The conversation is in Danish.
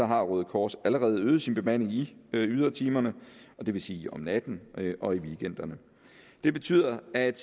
har røde kors allerede øget sin bemanding i ydertimerne det vil sige om natten og i weekenderne det betyder at